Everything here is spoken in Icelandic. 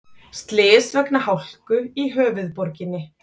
Slys vegna hálku í höfuðborginni